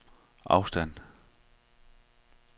afstand